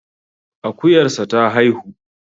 Akuyarsa ta haihu